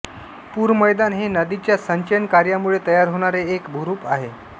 पूर मैदान हे नदीच्या संचयन कार्यामुळे तयार होणारे एक भूरूप आहे